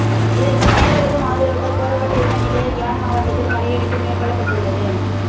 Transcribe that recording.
இதற்கு அனைவரதும் ஆதரவுகள் கோரப்பட்டிருந்த நிலையில் யாழ் மாவட்டத்தில் கடையடைப்பு மேற்கொள்ளப்பட்டுள்ளது